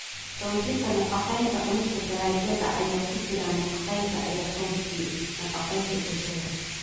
Xoojinta Nafaqeynta Cunista dalagyada ay ku jiraan nafaqeynta ayaa xoojiya nafaqeynta bulshada.